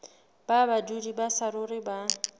ba badudi ba saruri ba